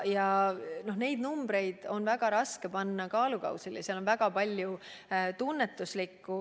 Kõiki neid numbreid on väga raske panna kaalukausile, mängus on väga palju tunnetuslikku.